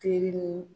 Teri ni